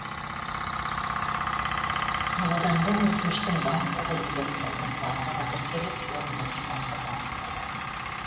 қабылданған өтініштің барлығы электрондық базаға тіркеліп орындаушыларға бағытталады